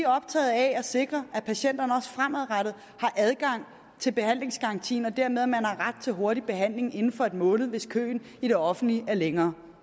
optaget af at sikre at patienterne også fremadrettet har adgang til behandlingsgarantien og dermed at man har ret til hurtig behandling inden for en måned hvis køen i det offentlige er længere